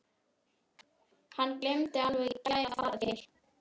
Hann gleymdi alveg í gær að fara til